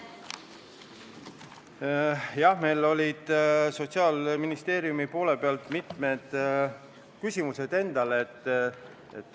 Jah, meil olid endal Sotsiaalministeeriumi poole pealt mitmed küsimused.